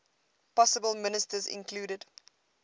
possible ministers included